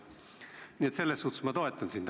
Nii et selles suhtes ma toetan sind.